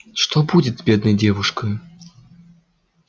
что будет с бедной девушкою